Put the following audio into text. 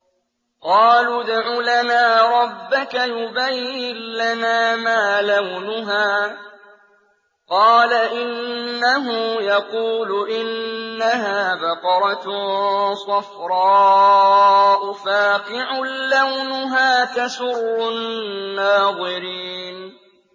قَالُوا ادْعُ لَنَا رَبَّكَ يُبَيِّن لَّنَا مَا لَوْنُهَا ۚ قَالَ إِنَّهُ يَقُولُ إِنَّهَا بَقَرَةٌ صَفْرَاءُ فَاقِعٌ لَّوْنُهَا تَسُرُّ النَّاظِرِينَ